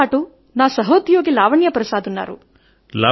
నాతో పాటు నా సహోద్యోగి లావణ్య ప్రసాద్ ఉన్నారు